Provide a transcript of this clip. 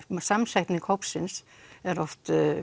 samsetningu hópsins er oft